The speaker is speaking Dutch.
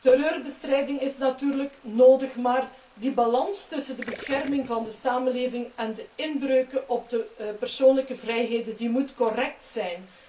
Terreurbestrijding is natuurlijk nodig, maar de balans tussen de bescherming van de samenleving en de inbreuken op de persoonlijke vrijheden moet correct zijn.